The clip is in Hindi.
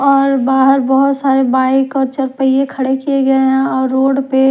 और बाहर बहुत सारे बाइक और चार पहिए खड़े किए गए हैं और रोड पे--